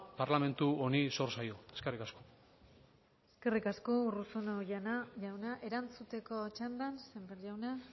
parlamentu honi zor zaio eskerrik asko eskerrik asko urruzuno jauna erantzuteko txandan sémper jauna